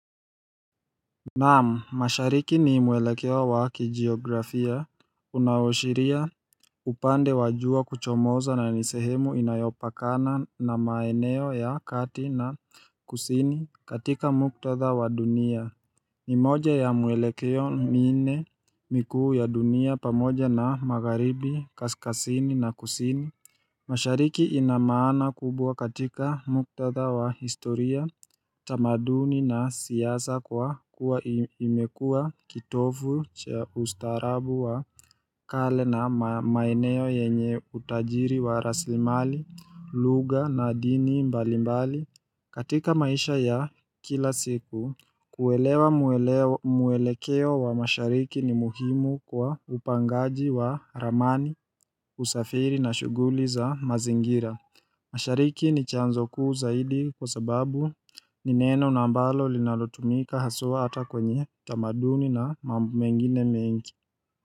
Naam, mashariki ni mwelekeo wa kijiografia unawashiria upande wajua kuchomoza na nisehemu inayopakana na maeneo ya kati na kusini katika muktadha wa dunia ni moja ya mwelekeo minne mikuu ya dunia pamoja na magharibi kaskazini na kusini mashariki ina maana kubwa katika muktadha wa historia, tamaduni na siasa kwa kuwa imekuwa kitovu cha ustaarabu wa kale na maeneo yenye utajiri wa rasilimali, lugha na dini mbalimbali. Katika maisha ya kila siku, kuelewa mwelekeo wa mashariki ni muhimu kwa upangaji wa ramani, usafiri na shughuli za mazingira. Mashariki ni chanzo kuu zaidi kwa sababu ni neno ambalo linalotumika haswa hata kwenye tamaduni na mambo mengine mengi.